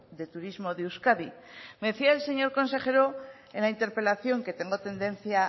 de turismo de euskadi me decía el señor consejero en la interpelación que tengo tendencia